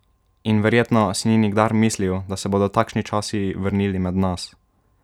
In verjetno si ni nikdar mislil, da se bodo takšni časi vrnili med nas!